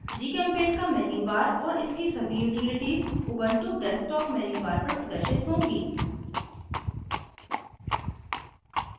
gchempaint का menubar और इसकी सभी utilities ubuntu desktop menubar पर प्रदर्शित होंगी